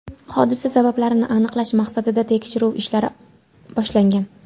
Hodisa sabablarini aniqlash maqsadida tekshiruv ishlari boshlangan.